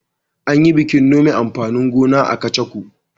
An yi bikin nome amfanin gona a Kacako.